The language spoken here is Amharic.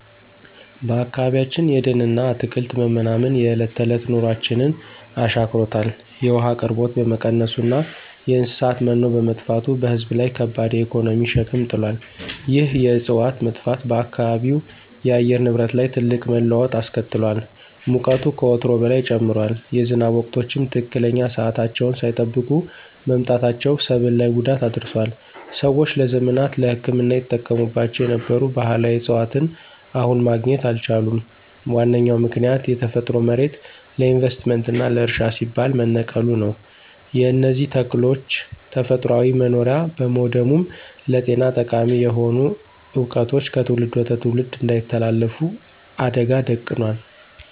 በአካባቢያችን የደንና አትክልት መመናመን የዕለት ተዕለት ኑሯችንን አሻክሮታል። የውሃ አቅርቦት በመቀነሱና የእንስሳት መኖ በመጥፋቱ በሕዝብ ላይ ከባድ የኢኮኖሚ ሸክም ጥሏል። ይህ የዕፅዋት መጥፋት በአካባቢው የአየር ንብረት ላይ ትልቅ መለዋወጥ አስከትሏል። ሙቀቱ ከወትሮው በላይ ጨምሯል፤ የዝናብ ወቅቶችም ትክክለኛ ሰዓታቸውን ሳይጠብቁ መምጣታቸው ሰብል ላይ ጉዳት አድርሷል። ሰዎች ለዘመናት ለሕክምና ይጠቀሙባቸው የነበሩ ባሕላዊ ዕፅዋትን አሁን ማግኘት አልቻሉም። ዋነኛው ምክንያት የተፈጥሮ መሬት ለኢንቨስትመንትና ለእርሻ ሲባል መነቀሉ ነው። የእነዚህ ተክሎች ተፈጥሯዊ መኖሪያ በመውደሙም ለጤና ጠቃሚ የሆኑ ዕውቀቶች ከትውልድ ወደ ትውልድ እንዳይተላለፉ አደጋ ደቅኗል።